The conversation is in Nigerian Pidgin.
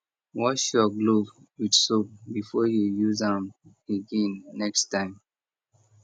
wash your glove with soap before you use am again next time